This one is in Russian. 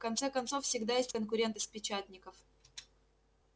в конце концов всегда есть конкуренты с печатников